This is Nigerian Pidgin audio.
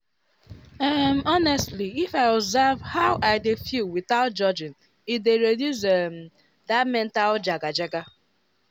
um honestly if i observe how i dey feel without judging e dey reduce um that mental jaga-jaga.